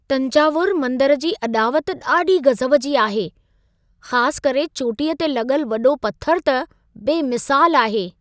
तंजावुर मंदर जी अॾावति ॾाढी गज़ब जी आहे। ख़ासु करे चोटीअ ते लॻल वॾो पथरु त बेमिसालु आहे।